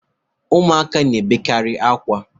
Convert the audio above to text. Ụmụaka na-ebekarị akwa.